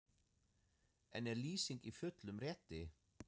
En er Lýsing í fullum rétti?